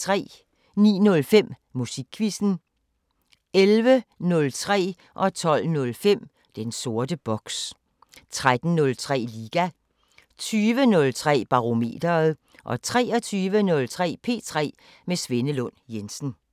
09:05: Musikquizzen 11:03: Den sorte boks 12:05: Den sorte boks 13:03: Liga 20:03: Barometeret 23:03: P3 med Svenne Lund Jensen